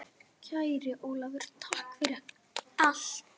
Kæri Ólafur, takk fyrir allt.